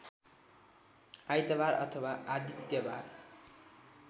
आइतवार अथवा आदित्यवार